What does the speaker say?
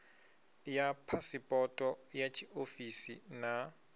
ya phasipoto ya tshiofisi na